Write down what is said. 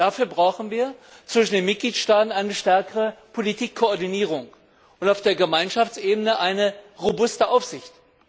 Dafür brauchen wir zwischen den Mitgliedstaaten eine stärkere Politikkoordinierung und auf der Gemeinschaftsebene eine robuste Aufsicht.